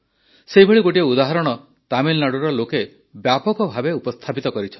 ସେହିଭଳି ଗୋଟିଏ ଉଦାହରଣ ତାମିଲନାଡ଼ୁର ଲୋକେ ବ୍ୟାପକ ଭାବେ ଉପସ୍ଥାପିତ କରିଛନ୍ତି